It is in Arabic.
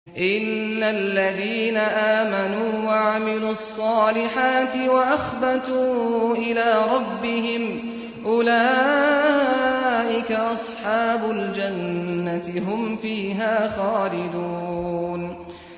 إِنَّ الَّذِينَ آمَنُوا وَعَمِلُوا الصَّالِحَاتِ وَأَخْبَتُوا إِلَىٰ رَبِّهِمْ أُولَٰئِكَ أَصْحَابُ الْجَنَّةِ ۖ هُمْ فِيهَا خَالِدُونَ